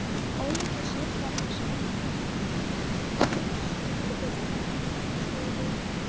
Ólíkir söngvarnir splundrast yfir mér.